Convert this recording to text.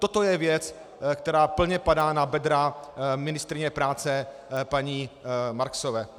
Toto je věc, která plně padá na bedra ministryně práce paní Marksové.